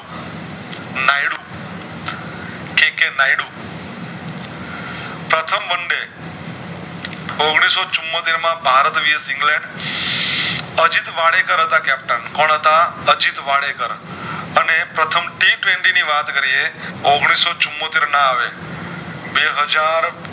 ઔગણીશ ચુંમોતેર માં Bharat vs England Ajit Wadekar હતા Captain કોણ હતા અજિત વારેકેર અને પ્રથમ ની વાત કરીયે ઔગણીશ ચુંમોતેરના આવે બે હાજર